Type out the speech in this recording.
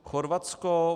Chorvatsko.